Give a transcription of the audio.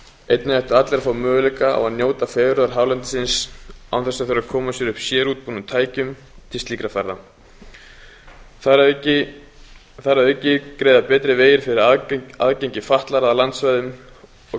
einnig ættu allir að fá möguleika á að njóta fegurðar hálendisins án þess að þurfa að koma sér upp sérútbúnum tækjum til slíkra ferða þar að auki greiða betri vegir fyrir aðgengi fatlaðra að landsvæðum og